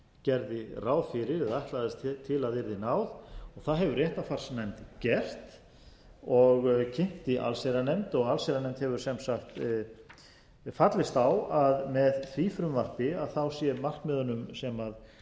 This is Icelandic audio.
gerði ráð fyrir eða ætlaðist til að yrði náð það hefur réttarfarsnefnd gert og kynnti allsherjarnefnd og allsherjarnefnd hefur sem sagt fallist á að með því frumvarpi sé markmiðunum sem til